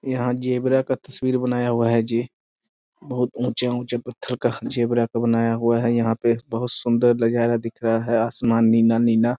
यहाँ ज़ेबरा का तस्वीर बनाया हुआ है जी बहुत ऊँचे-ऊँचे पत्थर का ज़ेबरा का बनाया हुआ है यहाँ पे बहुत सुंदर नजारा दिख रहा है आसमान नीना-नीना --